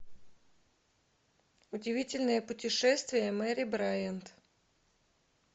удивительное путешествие мэри брайант